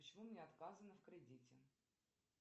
почему мне отказано в кредите